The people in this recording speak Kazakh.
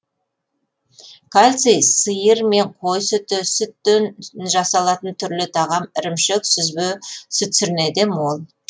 кальций сиыр мен қой сүті сүттен жасалатын түрлі тағам ірімшік сүзбе сүтсірнеде мол